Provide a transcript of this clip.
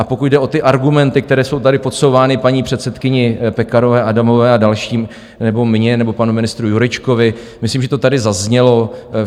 A pokud jde o ty argumenty, které jsou tady podsouvány paní předsedkyni Pekarové Adamové a dalším, nebo mně, nebo panu ministru Jurečkovi, myslím, že to tady zaznělo.